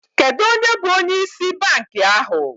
Kedu onye bụ onye ịsị bankị ahụ?